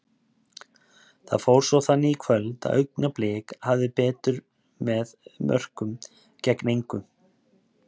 Það fór svo þannig í kvöld að Augnablik hafði betur með átta mörkum gegn engu.